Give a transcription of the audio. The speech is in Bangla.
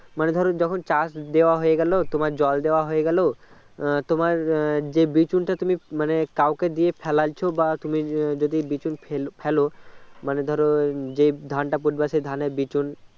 মানে ধরো যখন চাষ দেওয়া হয়ে গেল তোমার জল দেওয়া হয়ে গেল তোমার যে বিচুনটা তুমি মানে কাউকে দিয়ে ফেলেছো বা তুমি যদি বিচুন ফেলোমানে ধরো যে ধানটা পড়বে সেই ধানের বিচুন